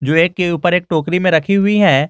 के ऊपर एक टोकरी में रखी हुई है।